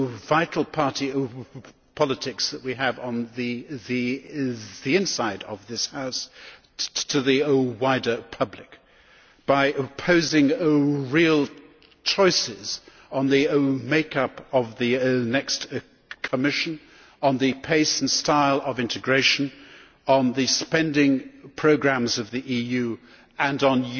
vital party politics that we have on the inside of this House to the wider public, by posing real choices on the make up of the next Commission, on the pace and style of integration, on the spending programmes of the EU and on